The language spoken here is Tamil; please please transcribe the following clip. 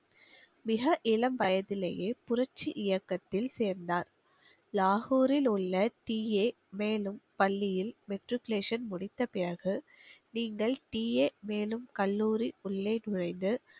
மிக இளம் வயதிலேயே புரட்சி இயக்கத்தில் சேர்ந்தார் லாகூரில் உள்ள பள்ளியில் matriculation முடித்தபிறகு நீங்கள் கல்லூரி உள்ளே நுழைந்து